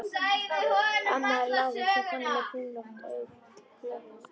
Amma var lágvaxin kona með kringlótt gleraugu.